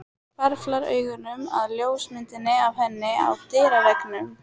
Hvarflar augunum að ljósmyndinni af henni á dyraveggnum.